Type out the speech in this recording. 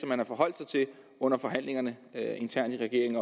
man har forholdt sig til under forhandlingerne internt i regeringen